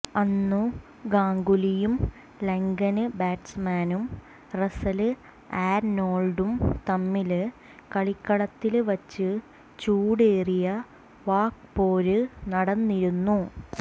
അന്നു ഗാംഗുലിയും ലങ്കന് ബാറ്റ്സ്മാന് റസ്സല് ആര്നോള്ഡും തമ്മില് കളിക്കളത്തില് വച്ച് ചൂടേറിയ വാക്പോര് നടന്നിരുന്നു